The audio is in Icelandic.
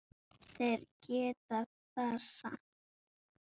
Þeir geta það samt.